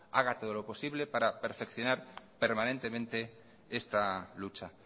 haga todo lo posible para perfeccionar permanentemente esta lucha